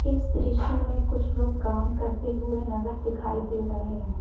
इस दृश्य में कुछ लोग काम करते हुए नजर दिखाई दे रहे हैं।